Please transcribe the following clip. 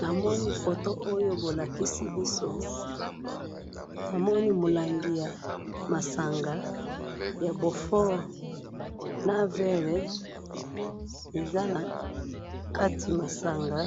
namoni photo oyo bo lakisi biso , namoni molangi ya masanga ya beaufort, na verre, eza na kati masanga